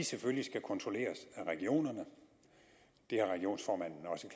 selvfølgelig skal kontrolleres af regionerne det har regionsformanden også